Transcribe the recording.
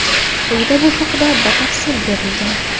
Quyida bu haqida batafsil berilgan.